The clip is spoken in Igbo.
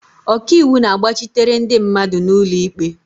Ọkaiwu na-agbachitere ndị mmadụ n'ụlọ ikpe.